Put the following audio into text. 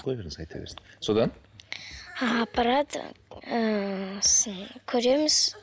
қоя беріңіз айта берсін содан апарады ііі сосын көреміз